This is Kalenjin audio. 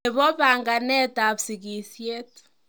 Nebo banganetab sikisiet.